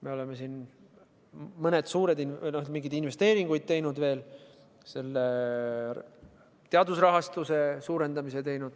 Me oleme mingeid investeeringuid teinud veel, teadusrahastuse suurendamise.